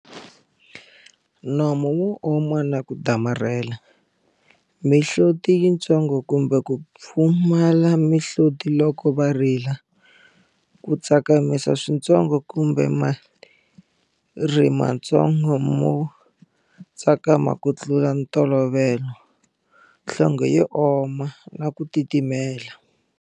Nomo wo oma na ku damarhela. Mihloti yintsongo kumbe ku pfumala mihloti loko va rila. Ku tsakamisa swintsongo kumbe malerhi matsongo mo tsakama ku tlula ntolovelo. Nhlonge yo oma, na ku titimela.